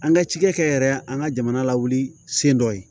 An ka cikɛ yɛrɛ an ka jamana lawuli sen dɔ ye